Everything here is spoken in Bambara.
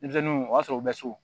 Denmisɛnninw o b'a sɔrɔ u bɛ so